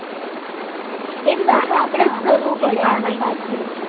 એ પાછો આપણે જ કરવું પડે